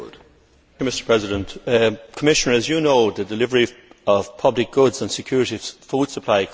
Commissioner, as you know, the delivery of public goods and security of food supply comes at a very significant cost.